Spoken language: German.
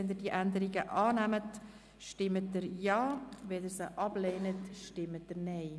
Wenn Sie diese Änderung annehmen wollen, stimmen Sie Ja, wenn sie diese ablehnen, stimmen Sie Nein.